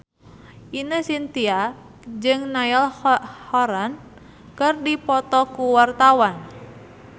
Ine Shintya jeung Niall Horran keur dipoto ku wartawan